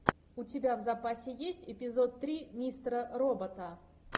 у тебя в запасе есть эпизод три мистера робота